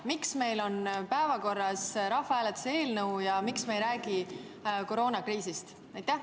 Miks meil on päevakorras rahvahääletuse eelnõu ja miks me ei räägi koroonakriisist?